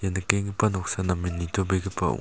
nikenggipa noksa namen nitobegipa ong--